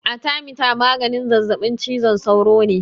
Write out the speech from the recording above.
Arthermeter maganin zazaɓin cizon sauro ne.